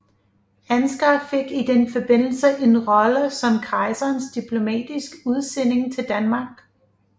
Ansgar fik i den forbindelse en rolle som kejserens diplomatiske udsending til Danmark